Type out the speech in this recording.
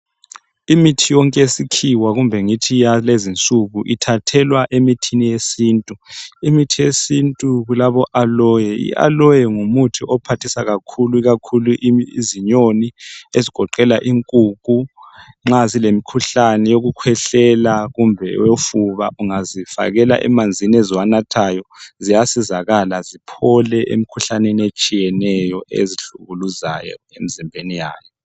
Imithi yonke yesikhiwa kumbe ngithi yalezi nsuku ithathelwa emithini yesintu, imithi yesintu kulabo"Aloe", i"Aloe" ngumuthi ophathisa kakhulu, ikakhulu izinyoni ezigoqela inkukhu nxa zilemkhuhlane yokukhwehlela kumbe yofuba, ungazifakela emanzini eziwanathayo ziyasizakala ziphole emkhuhlaneni etshiyeneyo ezihlukuluzayo emzimbeni yazo.